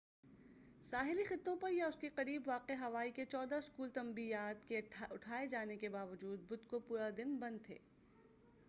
ساحلی خطوں پر یا اس کے قریب واقع ہوائی کے چودہ اسکول تنبیہات کے اٹھائے جانے کے باوجود بُدھ کو پورا دِن بند تھے